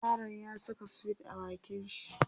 yaron ya Saka sweet a bakin shi